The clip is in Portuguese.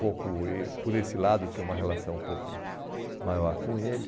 Pouco eh por esse lado, eu tinha uma relação um pouco maior com ele.